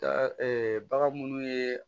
Da bagan munnu ye